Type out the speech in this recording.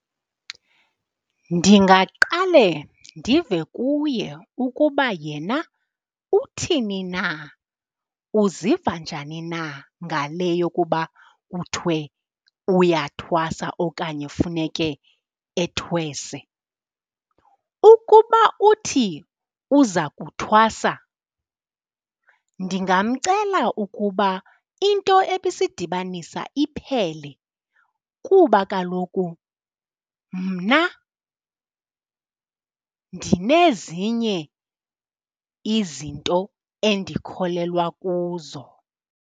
Ndingaqale ndive kuye ukuba yena uthini na, uziva njani na ngale yokuba kuthiwe uyathwasa okanye funeke ethwese. Ukuba uthi uza kuthwasa, ndingamcela ukuba into ebisidibanisa iphele, kuba kaloku mna ndinezinye izinto endikholelwa kuzo.